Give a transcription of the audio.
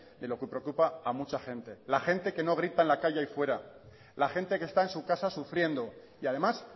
de lo que preocupa a mucha gente la gente que no grita en la calle ahí fuera la gente que está en su casa sufriendo y además